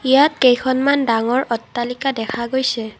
ইয়াত কেইখনমান ডাঙৰ অট্টালিকা দেখা গৈছে।